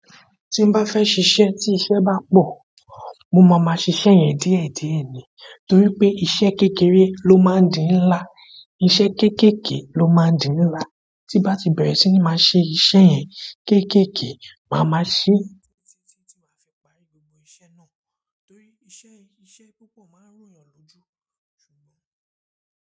Tí n bá fẹ́ ṣíṣe tí iṣẹ́ bá pọ̀, mo máa ma ṣiṣẹ́ yẹn díẹ̀díẹ̀ ni. Nítorí pé iṣẹ́ kékeré ló máa ń di ńlá, iṣẹ́ kéékèèké ló máa ń di ńlá. Tí n bá tí bẹ̀rẹ̀ sí ní máa ṣe iṣẹ́ yẹn, keekeekee máa ma ṣe títí tí máa fi parí gbogbo iṣẹ́ náà, torí iṣẹ́ púpọ̀ máa ń ròyàn lójú.